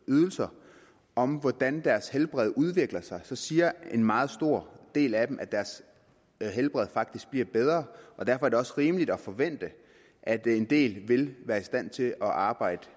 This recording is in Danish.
ydelser om hvordan deres helbred udvikler sig siger en meget stor del af dem at deres helbred faktisk bliver bedre og derfor er det også rimeligt at forvente at en del af vil være i stand til at arbejde